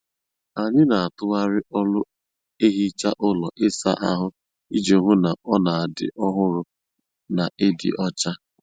Anyị n'atughari ọlụ ehicha ụlọ ịsa ahụ iji hụ na ọ n'adị ọhụrụ na ịdị ọcha.